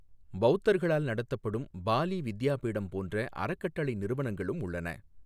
பௌத்தர்களால் நடத்தப்படும் பாலி வித்யாபீடம் போன்ற அறக்கட்டளை நிறுவனங்களும் உள்ளன.